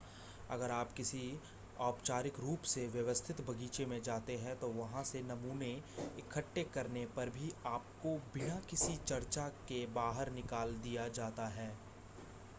अगर आप किसी औपचारिक रूप से व्यवस्थित बगीचे में जाते हैं तो वहां से नमूने इकट्ठे करने पर भी आपको बिना किसी चर्चा के बाहर निकाल दिया जाता है